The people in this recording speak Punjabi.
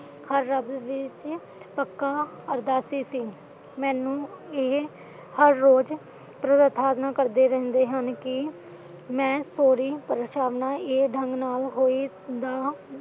ਆਜ਼ਾਦੀ ਦੀ ਸੀ ਪੱਕਾ ਅਰਦਾਸੀ ਸੀ ਮੈਨੂੰ ਇਹ ਹਰ ਰੋਜ ਪ੍ਰਯੇ ਥਾਰਨਾ ਕਰਦੇ ਰਹਿੰਦੇ ਹਨ ਕਿ ਮੈਂ ਥੋੜੀ ਪਰੇਸ਼ਾਨਾ ਇਹ ਢੰਗ ਨਾਲ ਹੋਈਦਾ